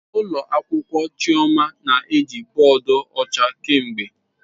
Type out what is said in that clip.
Ụlọ akwụkwọ "Chioma" na-eji bọọdụ ọcha kemgbe."